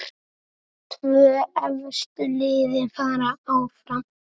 Tvö efstu liðin fara áfram.